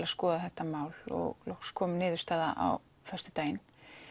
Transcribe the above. að skoða þetta mál og loksins kom niðurstaða á föstudaginn